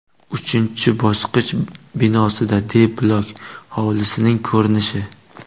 Uchinchi bosqich binosidan D bloki hovlisining ko‘rinishi.